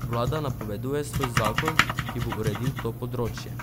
Vlada napoveduje svoj zakon, ki bo uredil to področje.